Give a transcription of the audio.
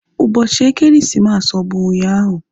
Ụbọchị ekeresimesi ọ bụ ụnyaahụ?